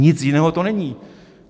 Nic jiného to není.